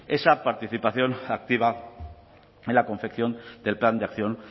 esa participación activa en la confección del plan de acción